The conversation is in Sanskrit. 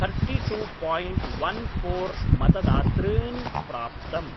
थर्टिटु पायिण्ट् वन् फोर् मतदातॄन् प्राप्तम्।